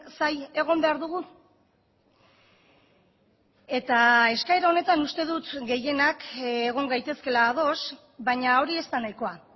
zain egon behar dugu eta eskaera honetan uste dut gehienak egon gaitezkeela ados baina hori ez da nahikoa